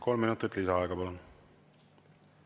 Kolm minutit lisaaega, palun!